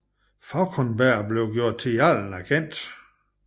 Fauconberg blev gjort til jarlen af Kent